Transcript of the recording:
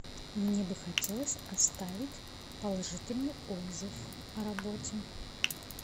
мне бы хотелось оставить положительный отзыв о работе